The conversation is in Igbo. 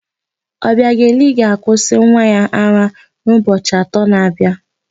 Ọbịageli ga-akwụsị nwa ya ara n'ụbọchi atọ na-abịa.